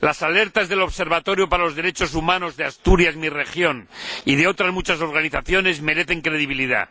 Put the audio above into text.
Las alertas del Observatorio para los Derechos Humanos de Asturias mi región y de otras muchas organizaciones, merecen credibilidad.